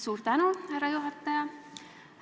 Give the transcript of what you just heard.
Suur tänu, härra juhataja!